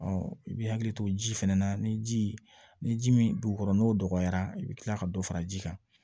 i bɛ hakili to ji fɛnɛ na ni ji ni ji min dugu kɔrɔ n'o dɔgɔyara i bɛ kila ka dɔ fara ji kan